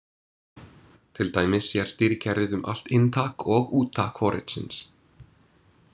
Til dæmis sér stýrikerfið um allt inntak og úttak forritsins.